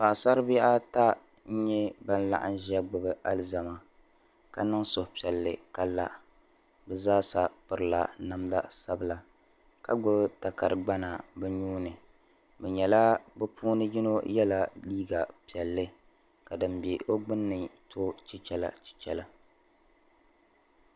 Paɣasari bihi ata n nyɛ ban laɣima ʒiya gbubi alizama ka niŋ suhupiɛlli ka la bi zaa sa pirila namda sabila ka gbubi takari gbana bi nuuni bi puuni yino yɛla liiga piɛlli ka din bɛ o gbunni to chichɛla chichɛla